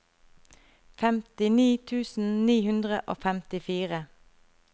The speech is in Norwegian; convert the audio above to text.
femtini tusen ni hundre og femtifire